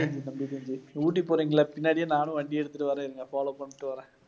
ஊட்டி போறீங்கல்ல பின்னாடியே நானும் வண்டி எடுத்துட்டு வரேன் இருங்க follow பண்ணிட்டு வரேன்.